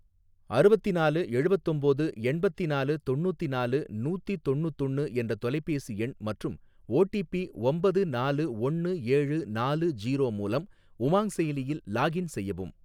அறுவத்தினாலு எழுவத்தொம்போது எண்பத்திநாலு தொண்ணூத்தினாலு நூத்தி தொண்ணூத்தொன்னு என்ற தொலைபேசி எண் மற்றும் ஓடிபி ஒம்பது நாலு ஒன்னு ஏழு நாலு ஜீரோ மூலம் உமாங் செயலியில் லாகின் செய்யவும்.